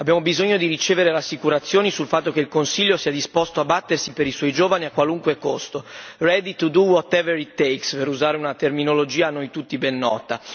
Abbiamo bisogno di ricevere rassicurazioni sul fatto che il Consiglio sia disposto a battersi per i suoi giovani, a qualunque costo ready to do whatever it takes, per usare una terminologia a noi tutti ben nota.